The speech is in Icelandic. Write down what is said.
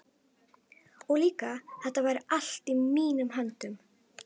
Og líka að þetta væri allt í mínum höndum.